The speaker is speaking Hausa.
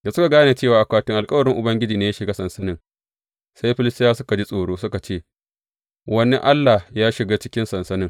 Da suka gane cewa akwatin alkawarin Ubangiji ne ya shiga sansanin, sai Filistiyawa suka ji tsoro, suka ce, Wani allah ya shiga cikin sansanin.